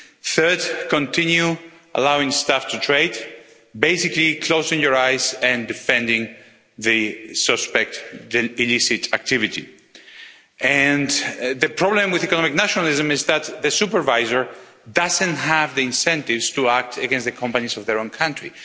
third, continue allowing staff to trade, basically closing your eyes and defending the suspect illicit activity. The problem with economic nationalism is that the supervisor doesn't have the incentive to act against the companies of their own country.